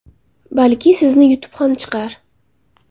Balki sizni yutib ham chiqar.